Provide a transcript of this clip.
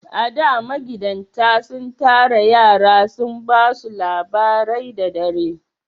A da, magidatan sun tara yara sun ba su labarai da dare